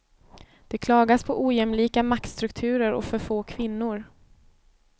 Det klagas på ojämlika maktstrukturer och för få kvinnor.